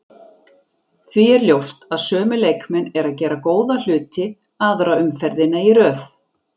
Því er ljóst að sömu leikmenn eru að gera góða hluti aðra umferðina í röð.